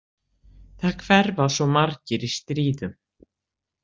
Það hverfa svo margir í stríðum.